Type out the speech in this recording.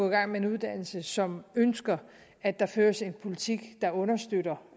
i gang med en uddannelse og som ønsker at der føres en politik der understøtter